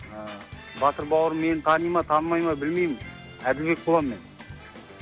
ыыы батыр бауырым мені тани ма танымай ма білмеймін әділбек боламын мен